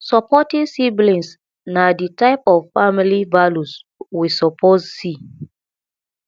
supporting siblings na the type of family values we suppose see